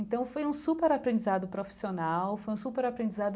Então, foi um super aprendizado profissional, foi um super aprendizado